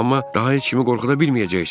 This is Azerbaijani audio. Amma daha heç kimi qorxuda bilməyəcəksən.